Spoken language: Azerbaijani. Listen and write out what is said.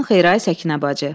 Axşamın xeyri, ay Səkinə bacı.